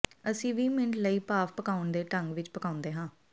ਅਸੀਂ ਵੀਹ ਮਿੰਟ ਲਈ ਭਾਫ਼ ਪਕਾਉਣ ਦੇ ਢੰਗ ਵਿੱਚ ਪਕਾਉਂਦੇ ਹਾਂ